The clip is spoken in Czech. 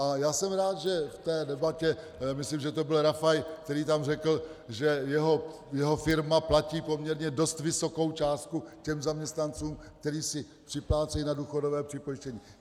A já jsem rád, že v té debatě - myslím, že to byl Rafaj, který tam řekl, že jeho firma platí poměrně dost vysokou částku těm zaměstnancům, kteří si připlácejí na důchodové připojištění.